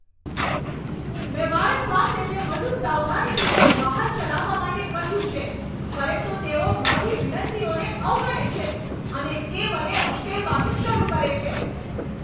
મેં વારંવાર તેમને વધુ સાવધાનીપૂર્વક વાહન ચલાવવા માટે કહ્યું છે, પરંતુ તેઓ મારી વિનંતીઓને અવગણે છે અને તે મને ઉશ્કેરવાનું શરૂ કરે છે.